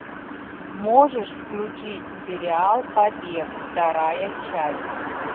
можешь включить сериал побег вторая часть